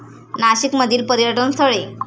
नाशिक मधील पर्यटन स्थळे